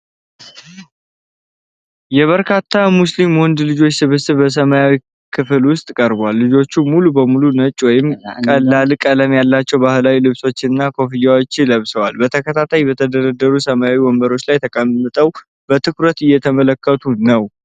የበርካታ ሙስሊም ወንድ ልጆች ስብስብ በሰማያዊ ክፍል ውስጥ ቀርቧል። ልጆቹ ሙሉ በሙሉ ነጭ ወይም ቀላል ቀለም ያላቸው ባህላዊ ልብሶችና ኮፍያዎች ለብሰዋል። በተከታታይ በተደረደሩ ሰማያዊ ወንበሮች ላይ ተቀምጠው በትኩረት እየተመለከቱ ነው።